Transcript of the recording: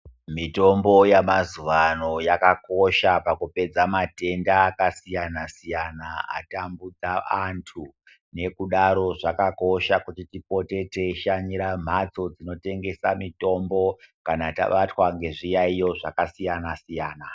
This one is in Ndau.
Mitombo yamazuwa ano yakakosha pakupedza matenda akasiyana siyana atambudza antu nekudaro zvakakosha kuti tipote teishanyira mhatso dzinotengesa mitombo kana tabatwa ngezviyaiyo zvakasiyana siyana.